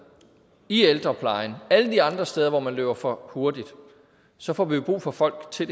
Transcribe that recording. i ældreplejen og alle de andre steder hvor man løber for hurtigt så får vi jo brug for folk til